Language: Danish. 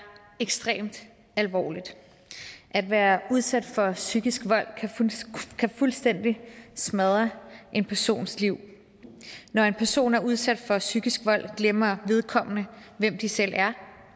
ekstremt alvorligt at være udsat for psykisk vold kan fuldstændig smadre en persons liv når en person er udsat for psykisk vold glemmer vedkommende hvem de selv er